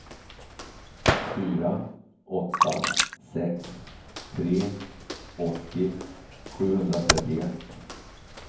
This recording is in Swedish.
fyra åtta sex tre åttio sjuhundratrettioett